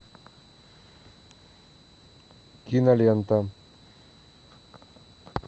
кинолента